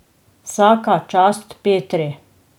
Vsaka čast Petri.